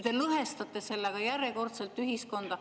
Te sellega järjekordselt lõhestate ühiskonda.